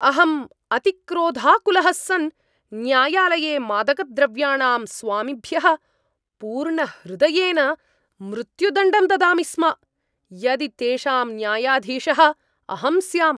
अहम् अतिक्रोधाकुलः सन् न्यायालये मादकद्रव्याणां स्वामिभ्यः पूर्णहृदयेन मृत्युदण्डं ददामि स्म यदि तेषां न्यायाधीशः अहं स्याम्।